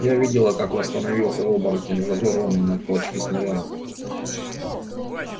я видела как восстановился оборотень разорванный на клочки снарядом